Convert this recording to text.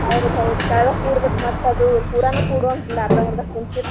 ಹೌದ ಹೌದ ಕೆಳ್ಗ ಕೂಡ್ಬೇಕ ಮತ್ತ ಅದು ಪೂರಾನು ಕೂಡುವಂಗಿಲ್ಲಾ ಅರ್ದಾ ಮರ್ದಾ ಕುಂತಿರ್ತಿವಿ.